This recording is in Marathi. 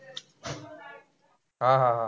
हा-हा-हा.